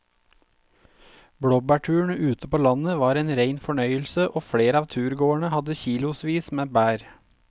Blåbærturen ute på landet var en rein fornøyelse og flere av turgåerene hadde kilosvis med bær.